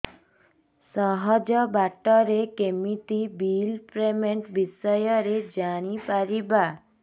ସହଜ ବାଟ ରେ କେମିତି ବିଲ୍ ପେମେଣ୍ଟ ବିଷୟ ରେ ଜାଣି ପାରିବି